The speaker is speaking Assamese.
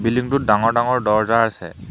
বিল্ডিংটোত ডাঙৰ ডাঙৰ দৰ্জা আছে।